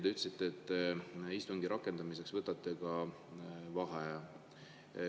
Te ütlesite, et istungi rakendamiseks te võtate vaheaja.